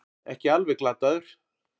Ekki alveg glataður